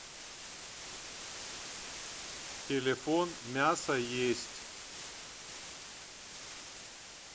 телефон мясо есть